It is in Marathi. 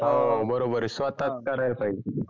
हो बरोबर आहे स्वतः करायला पहिजे